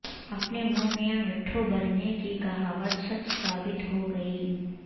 اپنے منہ میاں مٹھو بننے کی کہاوت سچ ثابت ہو گئی